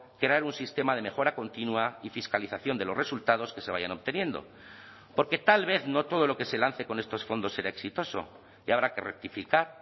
crear un sistema de mejora continua y fiscalización de los resultados que se vayan obteniendo porque tal vez no todo lo que se lance con estos fondos será exitoso y habrá que rectificar